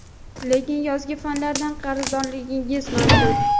lekin yozgi fanlardan qarzdorligingiz mavjud.